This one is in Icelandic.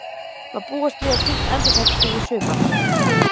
Má búast við að slíkt endurtaki sig í sumar?